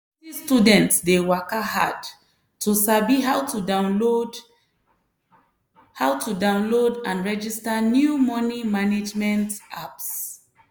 plenty students dey waka hard to sabi how to download how to download and register new money management apps.